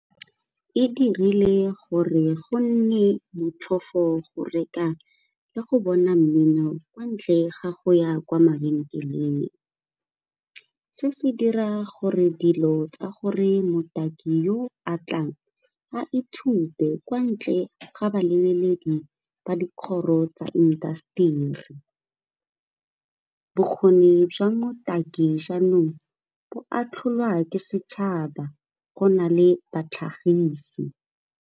E dirile gore go nne motlhofo go reka le go bona mmino kwa ntle ga go ya kwa mabenkeleng. Se se dira gore dilo tsa gore motaki yo atlang a ithute kwa ntle ga balebeledi ba dikgoro tsa intaseteri. Bokgoni jwa botaki jaanong bo atlholwa ke setšhaba go na le batlhagisi.